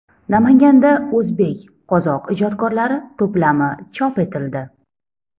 Namanganda o‘zbek-qozoq ijodkorlari to‘plami chop etildi.